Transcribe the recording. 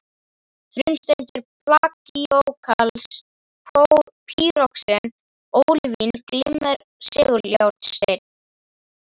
Frumsteindir plagíóklas, pýroxen, ólívín, glimmer seguljárnsteinn